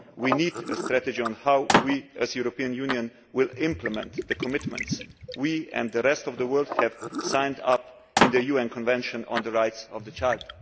We need a strategy on how we, the European Union, will implement the commitments. We and the rest of the world have signed up to the UN Convention on the Rights of the Child.